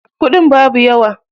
kuɗin babu yawa.